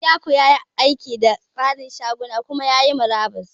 Isiaku ya yi aiki da tsarin shaguna kuma ya yi murabus.